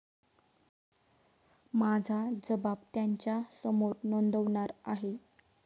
माझा जबाब त्यांच्यासमोर नोंदवणार आहे.